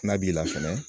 N'a b'i la fɛnɛ